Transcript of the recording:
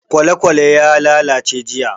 Kwalekwale ya lalace jiya.